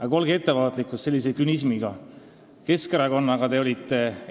Aga olge sellise künismiga ettevaatlikud!